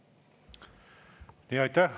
Aitäh!